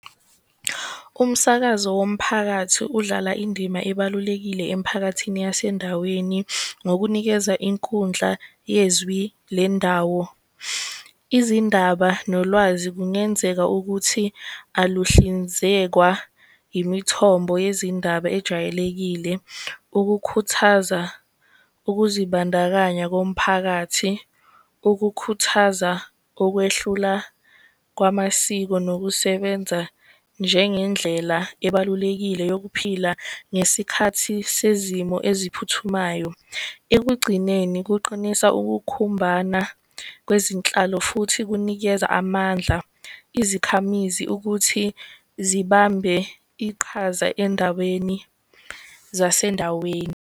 Umsakazo womphakathi udlala indima ebalulekile emiphakathini yasendaweni ngokunikeza inkundla yezwi lendawo. Izindaba nolwazi kungenzeka ukuthi aluhlinzekwa imithombo yezindaba ejwayelekile ukukhuthaza ukuzibandakanya komphakathi, ukukhuthaza okwehlula kwamasiko, nokusebenza njengendlela ebalulekile yokuphila. Ngesikhathi sezimo eziphuthumayo, ekugcineni kuqinisa ukukhumbana kwezinhlalo, futhi kunikeza amandla ukuthi zibambe iqhaza endaweni zasendaweni.